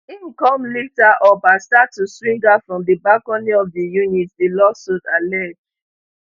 im come lift her up and start to swing her from di balcony of di unit di lawsuit allege